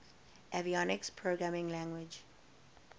avionics programming language